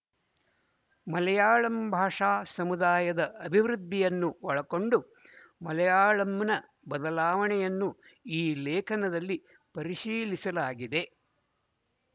ಮಲಯಾಳಂ ಭಾಷಾ ಸಮುದಾಯದ ಅಭಿವೃದ್ಧಿಯನ್ನು ಒಳಕೊಂಡು ಮಲಯಾಳಂನ ಬದಲಾವಣೆಯನ್ನು ಈ ಲೇಖನದಲ್ಲಿ ಪರಿಶೀಲಿಸಲಾಗಿದೆ